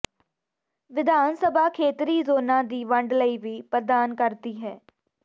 ਵਿਧਾਨ ਸਭਾ ਖੇਤਰੀ ਜ਼ੋਨਾਂ ਦੀ ਵੰਡ ਲਈ ਵੀ ਪ੍ਰਦਾਨ ਕਰਦੀ ਹੈ